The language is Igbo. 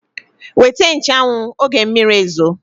Weta nche anwụ, oge mmiri ezo!